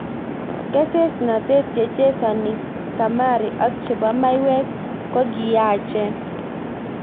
Kesesnatet, chechesani kamari ak chebo maiwek kokiyachen.